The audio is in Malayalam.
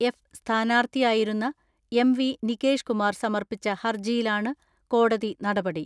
എഫ് സ്ഥാനാർത്ഥിയായിരുന്ന എം.വി നികേഷ് കുമാർ സമർപ്പിച്ച ഹർജിയിലാണ് കോടതി നടപടി.